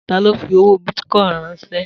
Ta ló fi owó bìtìcoin ránsẹ́?